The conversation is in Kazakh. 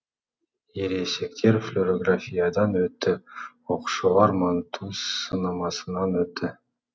ересектер флюрографиядан өтті оқушылар манту сынамасынан өтті